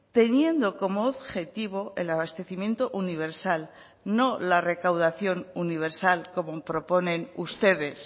teniendo como objetivo el abastecimiento universal no la recaudación universal como proponen ustedes